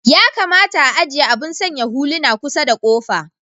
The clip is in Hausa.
Ya kamata a'ajie abun sanya huluna kusar da kofa.